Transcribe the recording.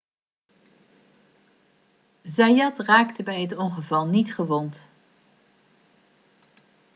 zayat raakte bij het ongeval niet gewond